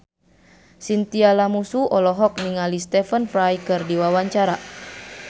Chintya Lamusu olohok ningali Stephen Fry keur diwawancara